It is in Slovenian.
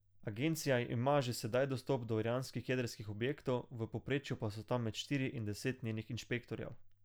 Agencija ima že sedaj dostop do iranskih jedrskih objektov, v povprečju pa so tam med štiri in deset njenih inšpektorjev.